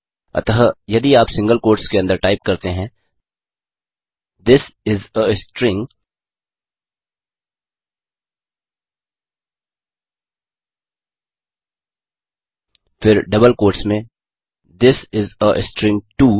अतः यदि आप सिंगल कोट्स के अंदर टाइप करते हैं थिस इस आ स्ट्रिंग फिर डबल कोट्स में this is a string to